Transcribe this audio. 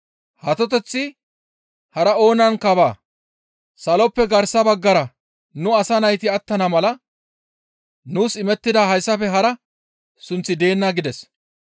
Atoteththi hara oonankka baa; saloppe garsa baggara nu asa nayti attana mala nuus imettiday hayssafe hara sunththi deenna» gides.